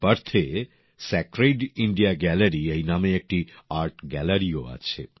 পার্থে sacred India gallery নামে একটি art গ্যালারিও আছে